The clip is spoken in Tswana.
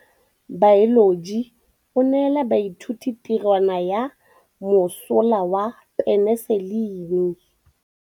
Motlhatlhaledi wa baeloji o neela baithuti tirwana ya mosola wa peniselene.